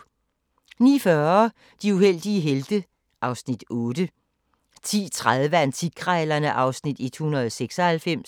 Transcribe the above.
(177:224) 09:40: De uheldige helte (Afs. 8) 10:30: Antikkrejlerne (Afs. 196)